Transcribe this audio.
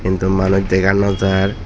hindu manuj dega no jaar.